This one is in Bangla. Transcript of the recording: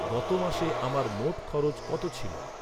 গত মাসে আমার মোট খরচ কত ছিল?